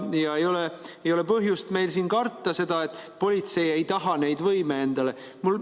Ja meil ei ole põhjust siin karta seda, et politsei ei taha seda võimu endale.